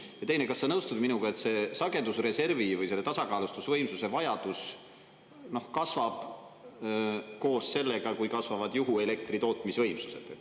Ja teine: kas sa nõustud minuga, et see sagedusreservi või selle tasakaalustusvõimsuse vajadus kasvab koos sellega, kui kasvavad juhuelektri tootmisvõimsused?